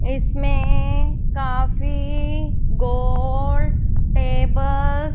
इसमें काफी गोल टेबल --